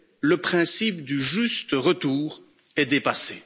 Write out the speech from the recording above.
Le principe du juste retour est dépassé.